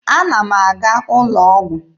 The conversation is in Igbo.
Ana m aga ụlọ ọgwụ.